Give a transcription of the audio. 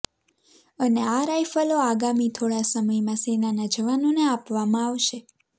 અને આ રાઈફલો આગામી થોડા સમયમા સેનાના જવાનોને આપવામા આવશે